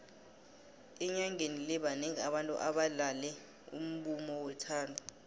enyangeni le banengi abantu abalale umbumo wethando